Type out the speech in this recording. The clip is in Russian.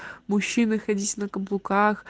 мужчины ходить на каблуках